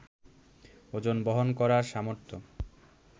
ওজন বহন করার সামর্থ্য